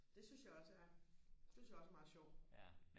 det synes jeg også er det synes jeg også er meget sjovt